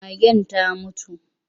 Magen ta mutu.